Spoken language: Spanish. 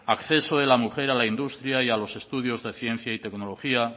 acceso de la mujer a la industria y a los estudios de ciencia y tecnología